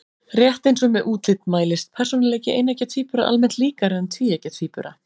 Rétt eins og með útlit mælist persónuleiki eineggja tvíbura almennt líkari en tvíeggja tvíbura.